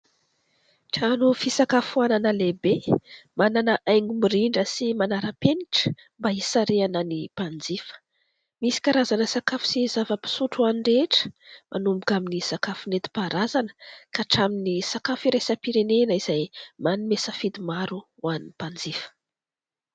Trano fisakafoanana lehibe manana haingo mirindra sy manara-penitra mba hisarihana ny mpanjifa, misy karazana sakafo sy zava-pisotro ho an'ny rehetra, manomboka amin'ny sakafo nentim-paharazana ka hatramin'ny sakafo iraisam-pirenena izay manome safidy maro ho an'ny mpanjifa.